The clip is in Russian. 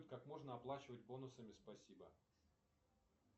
как можно оплачивать бонусами спасибо